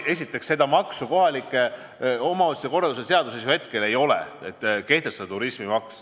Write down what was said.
Esiteks, seda maksu kohaliku omavalitsuse korralduse seaduses ju hetkel ei ole.